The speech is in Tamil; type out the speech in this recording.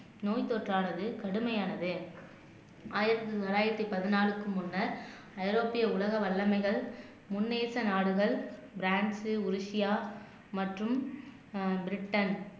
நோய் தொற்றானது கடுமையானது ஆயிரத்தி தொள்ளாயிரத்தி பதினாலுக்கு முன்னர் ஐரோப்பிய உலக வல்லமைகள் முன்னேச நாடுகள் பிரான்சு ஓடிசியா மற்றும் ஆஹ் பிரிட்டன்